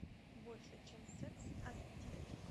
больше чем секс ас ди